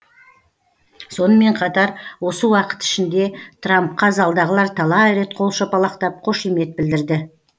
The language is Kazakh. сонымен қатар осы уақыт ішінде трампқа залдағылар талай рет қол шапалақтап қошемет білдірді